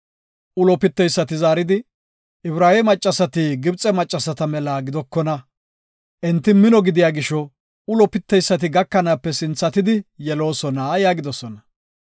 Ulo piteysati zaaridi, “Ibraawe maccasati Gibxe maccasata mela gidokona. Enti mino gidiya gisho ulo piteysati gakanaape sinthatidi yeloosona” yaagidosona.